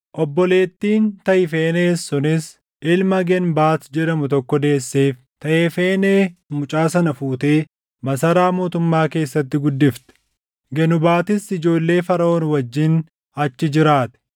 Obboleettiin Tahifenees sunis ilma Geenbaat jedhamu tokko deesseef; Taahefenee mucaa sana fuutee masaraa mootummaa keessatti guddifte. Genubatis ijoollee Faraʼoon wajjin achi jiraate.